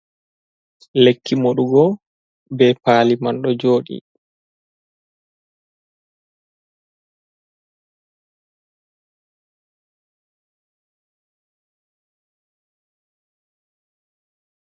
Lekki moɗugo be paliman ɗo joɗi.